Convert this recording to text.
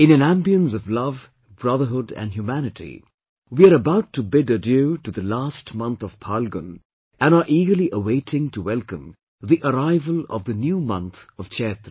In an ambience of love, brotherhood and humanity, we are about to bid adieu to the last month of Phalgun and are eagerly awaiting to welcome the arrival of the new month of Chaitra